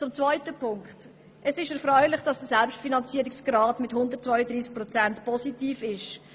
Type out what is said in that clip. Zum zweiten Punkt: Es ist erfreulich, dass der Selbstfinanzierungsgrad mit 132 Prozent positiv ist.